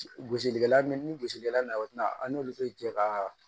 Gosilikɛla nunnu ni gosilikɛla nana o tina an n'olu be jɛ ka